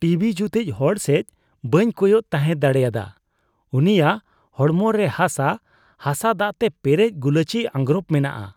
TV ᱡᱩᱛᱤᱡ ᱦᱚᱲ ᱥᱮᱡ ᱵᱟᱹᱧ ᱠᱚᱭᱚᱜ ᱛᱟᱦᱮᱸ ᱫᱟᱲᱮᱭᱟᱫᱟ ᱾ ᱩᱱᱤᱭᱟᱜ ᱦᱚᱲᱢᱚ ᱨᱮ ᱦᱟᱥᱟ ᱦᱟᱥᱟ ᱫᱟᱜᱛᱮ ᱯᱮᱨᱮᱡ ᱜᱩᱞᱟᱹᱪᱤ ᱟᱸᱜᱨᱚᱯ ᱢᱮᱱᱟᱜᱼᱟ ᱾